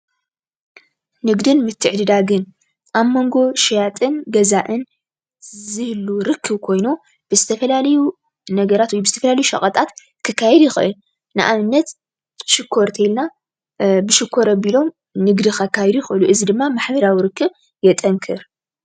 ንግድን ምትዕድዳግን ኣብ ሞንጎ ሸያጥን ገዛእን ዝህሉ ርክብ ኮይኑ ብዝተፈላለዩ ነገራት ወይ ብዝተፈላለዩ ሸቀጣት ክካየድ ይክእል። ንኣብነት፦ ብሽኮር እንቴልና ብሽኮር ኣቢሎም ንግዲ ከካይዱ ይኽእሉ ። እዚ ድማ ማሕበራዊ ርክብ የጠንክር።